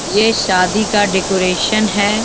ये शादी का डेकोरेशन है।